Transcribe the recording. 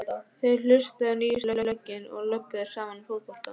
Þeir hlustuðu á nýjustu lögin og röbbuðu saman um fótbolta.